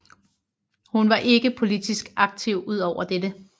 Hun var ikke politisk aktiv udover dette